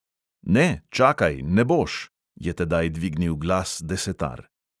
"Ne, čakaj, ne boš!" je tedaj dvignil glas desetar.